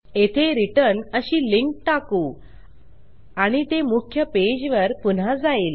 येथे returnअशी लिंक टाकु आणि ते मुख्य पेज वर पुन्हा जाईल